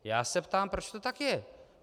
Já se ptám, proč to tak je.